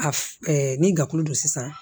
A f ni gafe don sisan